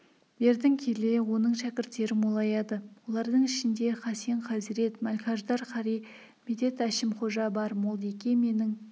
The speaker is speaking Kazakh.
бертін келе оның шәкірттері молаяды олардың ішінде хасен хазірет мәлкаждар қари медет әшімқожа бар молдеке менің